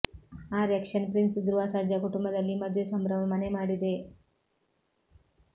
action prince Dhruva Sarja ಕುಟುಂಬದಲ್ಲಿ ಮದುವೆ ಸಂಭ್ರಮ ಮನೆ ಮಾಡಿದೆ